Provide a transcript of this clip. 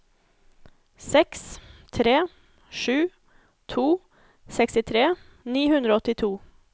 seks tre sju to sekstitre ni hundre og åttito